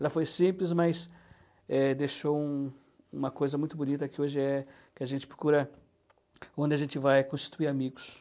Ela foi simples, mas eh, deixou um uma coisa muito bonita que hoje é que a gente procura onde a gente vai constituir amigos.